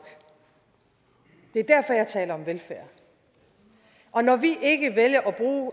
det er derfor jeg taler om velfærd og når vi ikke vælger